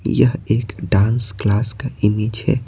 यह एक dance class का इमेज है।